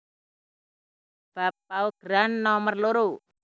Bab paugeran nomer loro